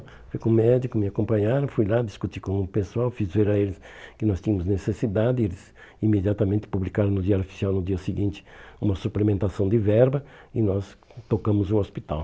Fui com o médico, me acompanharam, fui lá discutir com o pessoal, fiz ver a eles que nós tínhamos necessidade e eles imediatamente publicaram no Diário Oficial no dia seguinte uma suplementação de verba e nós tocamos o hospital.